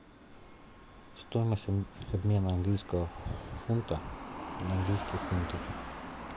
стоимость обмена английского фунта на английские фунты